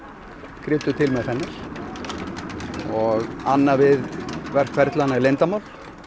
krydduð til með fennel annað við verkferlana er leyndarmál